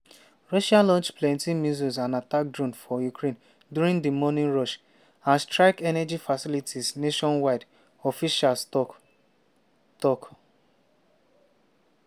russia launch plenti missiles and attack drones for ukraine during di morning rush and strike energy facilities nationwide officials tok. tok.